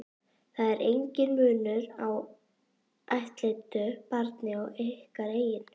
Það er enginn munur á ættleiddu barni og ykkar eigin.